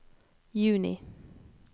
juni